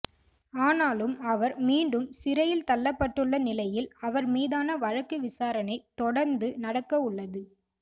ஆனாலும் அவர் மீண்டும் சிறையில் தள்ளப்பட்டுள்ள நிலையில் அவர் மீதான வழக்கு விசாரணை தொடந்து நடக்கவுள்ளது